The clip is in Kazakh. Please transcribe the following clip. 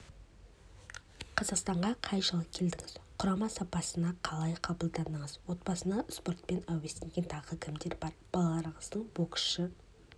қазақстанға қай жылы келдіңіз құрама сапына қалай қабылдандыңыз отбасында спортпен әуестенген тағы кімдер бар балаларыңыздың боксшы